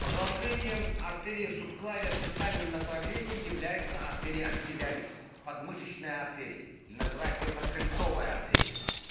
продолжение артэриа субклявиа дистальном направлении является артэриа аксиллярис подмышечная артерия или называют её подкрыльцовая артерия